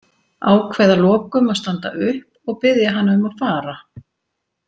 Ákveð að lokum að standa upp og biðja hana um að fara.